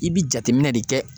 I bi jateminɛ de kɛ